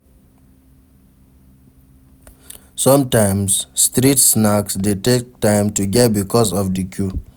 Sometimes street snacks de take time to get because of di queue